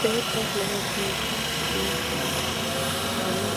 Beetto lowo geesha biifannota ikitana